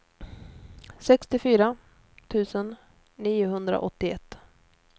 sextiofyra tusen niohundraåttioett